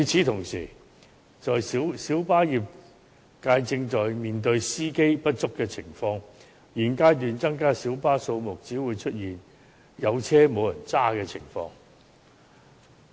同時，小巴業界正面對司機不足的情況，在現階段增加小巴數目，只會出現有車輛卻沒有司機駕駛的情況。